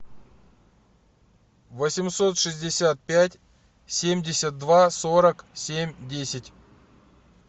восемьсот шестьдесят пять семьдесят два сорок семь десять